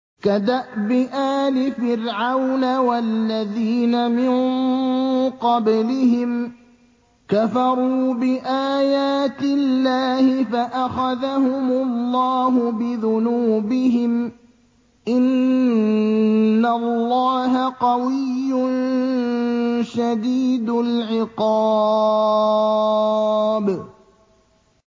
كَدَأْبِ آلِ فِرْعَوْنَ ۙ وَالَّذِينَ مِن قَبْلِهِمْ ۚ كَفَرُوا بِآيَاتِ اللَّهِ فَأَخَذَهُمُ اللَّهُ بِذُنُوبِهِمْ ۗ إِنَّ اللَّهَ قَوِيٌّ شَدِيدُ الْعِقَابِ